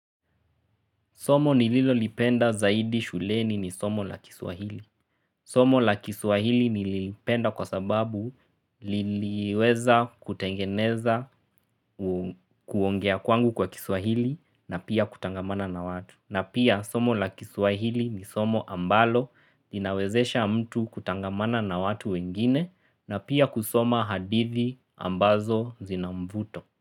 Somo nililo lipenda zaidi shuleni ni somo la kiswahili. Somo la kiswahili nilipenda kwa sababu liliweza kutengeneza kuongea kwangu kwa kiswahili na pia kutangamana na watu. Na pia somo la kiswahili ni somo ambalo linawezesha mtu kutangamana na watu wengine na pia kusoma hadithi ambazo zina mvuto.